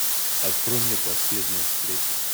открой мне последняя встреча